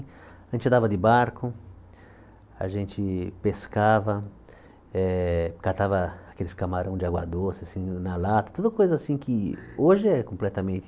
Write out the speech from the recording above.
A gente andava de barco, a gente pescava, eh catava aqueles camarões de água doce, assim, na lata, tuda coisa assim que hoje é completamente